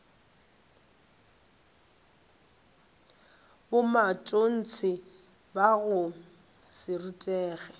bomatontshe ba go se rutege